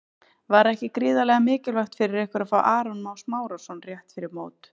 Var ekki gríðarlega mikilvægt fyrir ykkur að fá Aron Má Smárason rétt fyrir mót?